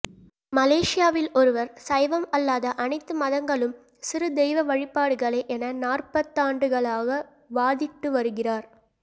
மலேசியாவில் ஒருவர் சைவம் அல்லாத அனைத்துமதங்களும் சிறுதெய்வ வழிபாடுகளே என நாற்பதாண்டுகளாக வாதிட்டுவருகிறார்